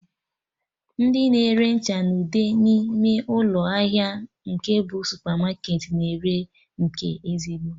Ndị na-ere ncha na ude n'ime ụlọ ahịa nke bụ supamarketị na ere nke ezigbo